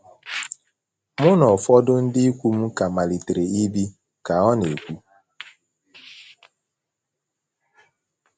“ Mụ na ụfọdụ ndị ikwu m ka malitere ibi, ” ka ọ na - ekwu.